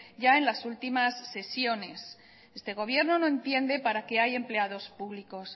ya en las últimas sesiones este gobierno no entiende para qué hay empleados públicos